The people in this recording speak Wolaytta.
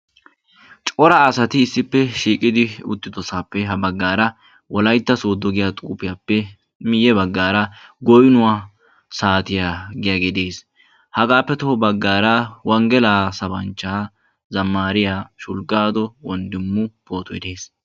Cora asati issippe shiiqidi uttidoosappe ha baggaara wolaytta Sooddo giya xuupiyaappe miyye baggaara goynnuwa saattiya giyagge de'ees. Hagappe toho baggaara wanggeliya sabanchcha zamariyaa Shulggado Wonddimu pootoy dees.